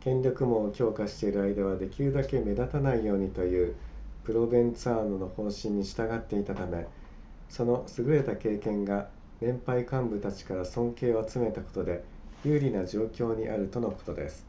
権力網を強化している間はできるだけ目立たないようにというプロヴェンツァーノの方針に従っていたためその優れた経験が年配幹部たちから尊敬を集めたことで有利な状況にあるとのことです